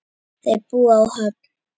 Þau búa á Höfn.